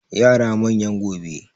Yara manyan gobe